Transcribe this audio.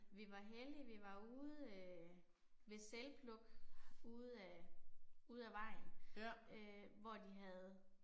Vi var heldige vi var ude øh ved selvpluk ude af, ude af vejen øh hvor de havde